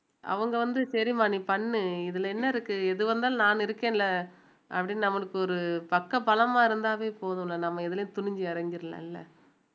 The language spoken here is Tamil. அவங்க வந்து சரிம்மா நீ பண்ணு இதுல என்ன இருக்கு எதுவா இருந்தாலும் நான் இருக்கேன்ல அப்படின்னு நம்மளுக்கு ஒரு பக்கபலமாக இருந்தாவே போதும்ல நம்ம இதுலயே துணிஞ்சு இறங்கிறலாம்ல